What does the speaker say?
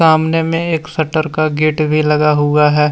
सामने मे एक शटर का गेट भी लगा हुआ है।